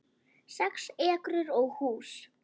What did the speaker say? Sex ekrur og hús